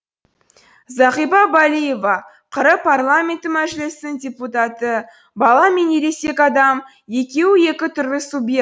зағипа балиева қр парламенті мәжілісінің депутаты бала мен ересек адам екеуі екі түрлі субъект